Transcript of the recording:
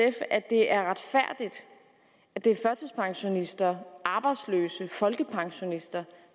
at det er retfærdigt at det er førtidspensionister arbejdsløse og folkepensionister